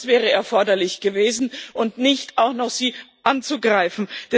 Das wäre erforderlich gewesen und nicht, sie auch noch anzugreifen.